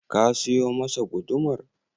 Ka siyo masa gudumar?